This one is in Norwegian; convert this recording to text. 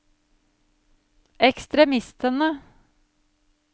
ekstremistene